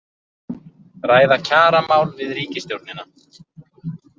Ræða kjaramál við ríkisstjórnina